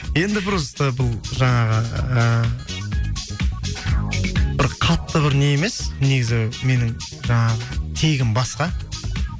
енді просто бұл жаңағы і бір қатты бір не емес негізі менің жаңағы тегім басқа